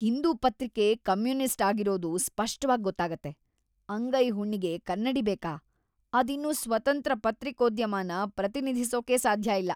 ಹಿಂದೂ ಪತ್ರಿಕೆ ಕಮ್ಯುನಿಸ್ಟ್ ಆಗಿರೋದು ಸ್ಪಷ್ಟವಾಗ್‌ ಗೊತ್ತಾಗತ್ತೆ, ಅಂಗೈ ಹುಣ್ಣಿಗೆ ಕನ್ನಡಿ ಬೇಕಾ? ಅದಿನ್ನು ಸ್ವತಂತ್ರ ಪತ್ರಿಕೋದ್ಯಮನ ಪ್ರತಿನಿಧಿಸೋಕೆ ಸಾಧ್ಯ ಇಲ್ಲ.